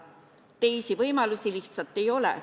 Teisi võimalusi lihtsalt ei ole.